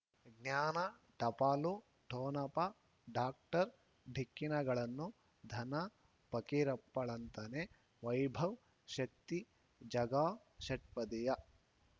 ಜ್ಞಾನ ಟಪಾಲು ಠೊಣಪ ಡಾಕ್ಟರ್ ಢಿಕ್ಕಿ ಣಗಳನು ಧನ ಫಕೀರಪ್ಪ ಳಂತಾನೆ ವೈಭವ್ ಶಕ್ತಿ ಝಗಾ ಷಟ್ಪದಿಯ